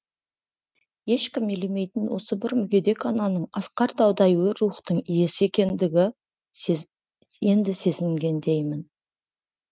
ешкім елемейтін осы бір мүгедек ананың асқар таудай өр рухтың иесі екендігі енді сезінгендеймін